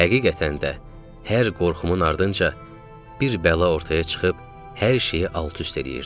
Həqiqətən də, hər qorxumun ardınca bir bəla ortaya çıxıb hər şeyi alt-üst eləyirdi.